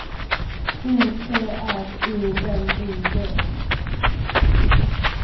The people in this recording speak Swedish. O T R O L I G